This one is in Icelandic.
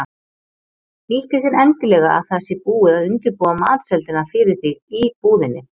Nýttu þér endilega að það sé búið að undirbúa matseldina fyrir þig í búðinni.